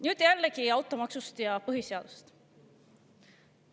Nüüd jällegi automaksust ja põhiseadusest.